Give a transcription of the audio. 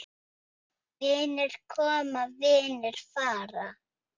Vinir koma, vinir fara.